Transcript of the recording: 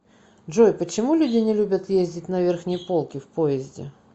джой почему люди не любят ездить на верхней полке в поезде